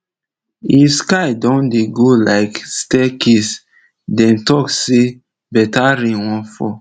if sky don dey go like stair case dem talk say better rain wan fall